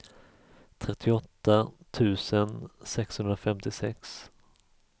trettioåtta tusen sexhundrafemtiosex